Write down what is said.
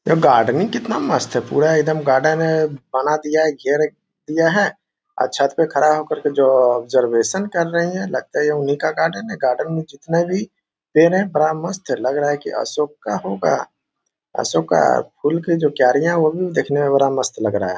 ये गार्डनिंग कितना मस्त है पूरा एकदम गार्डन बना दिया है घेर दिया है और छत्त पर खड़ा होकर जो आब्ज़र्वैशन कर रहे है लगता है ये उन्ही का गार्डन है गार्डन मे जीतने भी पेड़ है बड़ा मस्त है लग रहा है अशोक का होगा अशोक का फूल का जो कैरिया है वो देखने मे बड़ा मस्त लग रहा है।